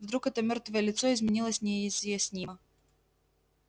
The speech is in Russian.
вдруг это мёртвое лицо изменилось неизъяснимо